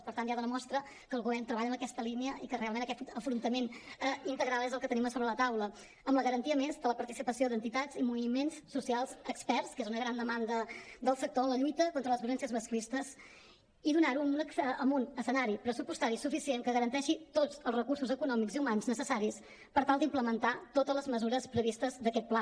per tant ja dona mostra que el govern treballa en aquesta línia i que realment aquest afrontament integral és el que tenim a sobre la taula amb la garantia a més de la participació d’entitats i moviments socials experts que és una gran demanda del sector en la lluita contra les violències masclistes i donar ho amb un escenari pressupostari suficient que garanteixi tots els recursos econòmics i humans necessaris per tal d’implementar totes les mesures previstes d’aquest pla